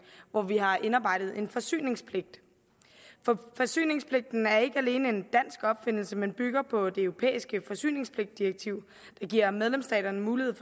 hvor vi har indarbejdet en forsyningspligt forsyningspligten er ikke alene en dansk opfindelse men bygger på det europæiske forsyningsdirektiv der giver medlemsstaterne mulighed